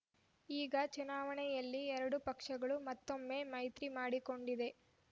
ಈಗ ಚುನಾವಣೆಯಲ್ಲಿ ಎರಡೂ ಪಕ್ಷಗಳು ಮತ್ತೊಮ್ಮೆ ಮೈತ್ರಿ ಮಾಡಿಕೊಂಡಿದೆ